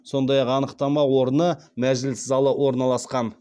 сондай ақ анықтама орны мәжіліс залы орналасқан